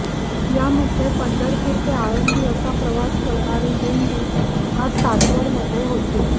यामध्ये पंढरपूर ते आळंदी असा प्रवास करणारी दिंडी आज सासवड मध्ये होती